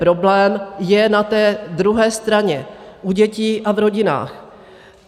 Problém je na té druhé straně, u dětí a v rodinách.